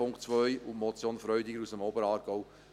Zum Punkt 2 und zur Motion Freudiger aus dem Oberaargau: